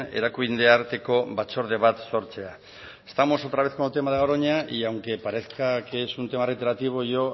erakunde arteko batzorde bat sortzea estamos otra vez con el tema de garoña y aunque parezca que es un tema retroactivo yo